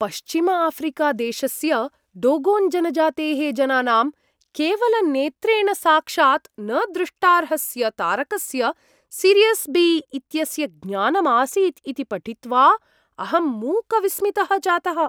पश्चिमआफ्रिकादेशस्य Dogon जनजातेः जनानां केवलनेत्रेण साक्षात् न दृष्टार्हस्य तारकस्य सिरियस् बी इत्यस्य ज्ञानं आसीत् इति पठित्वा अहं मूकविस्मितः जातः ।